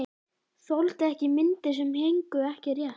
Þoldi ekki myndir sem héngu ekki rétt.